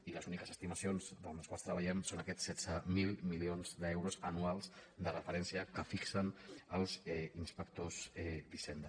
i les úniques estimacions amb les quals treballem són aquests setze mil milions d’euros anuals de referència que fixen els inspectors d’hisenda